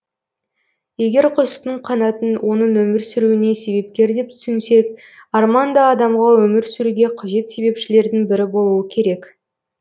егер құстың қанатын оның өмір сүруіне себепкер деп түсінсек арман да адамға өмір сүруге қажет себепшілердің бірі болуы керек